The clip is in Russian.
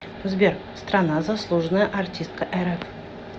сбер страна заслуженная артистка рф